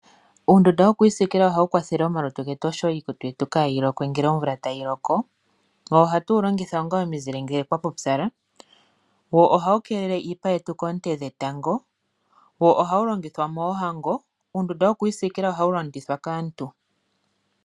Uundunda wokwiisikila ohawu kwathele omalutu getu oshowo iikutu yetu opo yaahalokwe komvula ngele tayi loko, wo ohatu wu longitha onga omizile ngele kwapupyala, wo ohawu keelele iipa yetu koonte dhetango, wo ohawu longithwa moohango. Uundunda wokwiisikila ohawu longithwa kaantu.